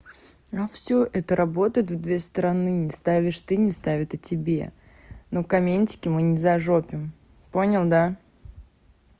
но всё это работает в две стороны не ставишь ты не ставит и тебе но комментарии мы не зажопим понял да